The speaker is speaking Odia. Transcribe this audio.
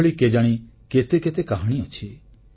ଏହିଭଳି କେଜାଣି କେତେ କେତେ କାହାଣୀ ଅଛି